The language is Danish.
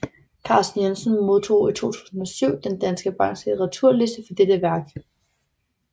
Carsten Jensen modtog i 2007 Danske Banks Litteraturpris for dette værk